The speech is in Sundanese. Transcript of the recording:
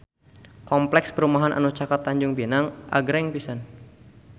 Kompleks perumahan anu caket Tanjung Pinang agreng pisan